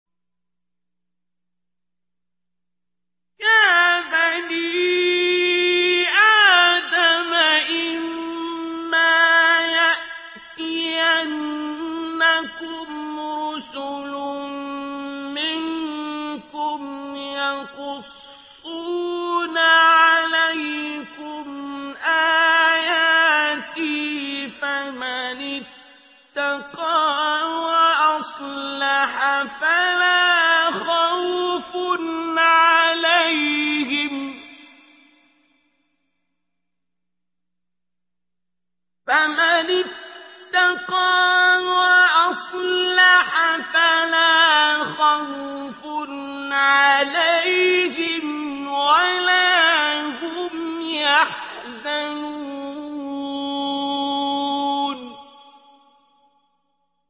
يَا بَنِي آدَمَ إِمَّا يَأْتِيَنَّكُمْ رُسُلٌ مِّنكُمْ يَقُصُّونَ عَلَيْكُمْ آيَاتِي ۙ فَمَنِ اتَّقَىٰ وَأَصْلَحَ فَلَا خَوْفٌ عَلَيْهِمْ وَلَا هُمْ يَحْزَنُونَ